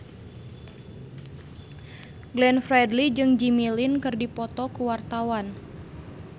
Glenn Fredly jeung Jimmy Lin keur dipoto ku wartawan